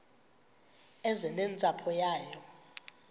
eze nentsapho yayo